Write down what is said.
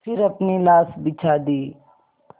फिर अपनी लाश बिछा दी